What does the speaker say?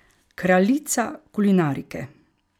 Kraljica kulinarike!